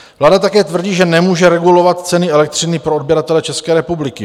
Vláda také tvrdí, že nemůže regulovat ceny elektřiny pro odběratele České republiky.